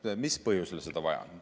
Mis põhjusel seda vaja on?